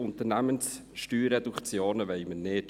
Unternehmenssteuerreduktionen wollen wir nicht.